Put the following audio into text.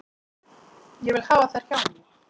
Ég vil hafa þær hjá mér.